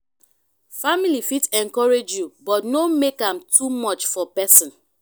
family fit encourage you but no make am too much for person.